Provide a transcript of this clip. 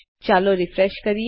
ચાલો રીફ્રેશ કરીએ